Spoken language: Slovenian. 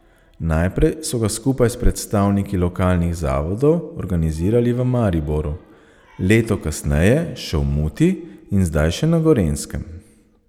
Najprej so ga skupaj s predstavniki lokalnih zavodov organizirali v Mariboru, leto kasneje še v Muti in zdaj še na Gorenjskem.